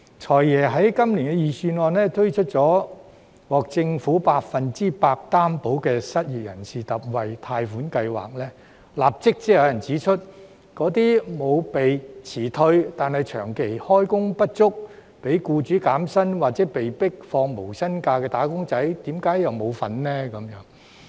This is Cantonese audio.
"財爺"在今年財政預算案推出獲政府百分百擔保的失業人士特惠貸款計劃，立即便有人指出，為甚麼沒有被辭退但長期開工不足、被僱主減薪或被迫放無薪假的"打工仔"並不包括在內。